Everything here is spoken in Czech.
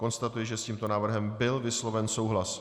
Konstatuji, že s tímto návrhem byl vysloven souhlas.